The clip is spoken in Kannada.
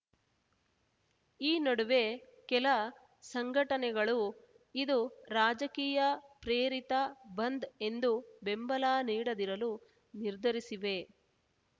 ಈ ನಡುವೆ ಕೆಲ ಸಂಘಟನೆಗಳು ಇದು ರಾಜಕೀಯ ಪ್ರೇರಿತ ಬಂದ್‌ ಎಂದು ಬೆಂಬಲ ನೀಡದಿರಲು ನಿರ್ಧರಿಸಿವೆ